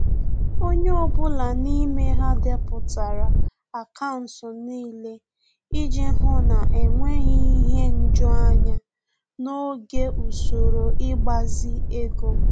Onye ọbụla n'ime ha depụtara akaụntụ niile iji hụ na-enweghị ihe nju anya n'oge usoro ịgbazi ego